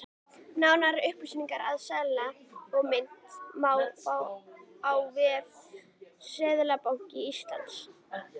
Nánari upplýsingar um seðla og mynt má fá á vef Seðlabanka Íslands.